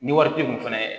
Ni wari ti kun fɛnɛ ye